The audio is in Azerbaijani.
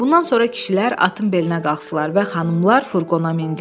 Bundan sonra kişilər atın belinə qalxdılar və xanımlar furqona mindilər.